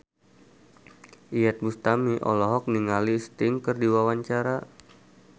Iyeth Bustami olohok ningali Sting keur diwawancara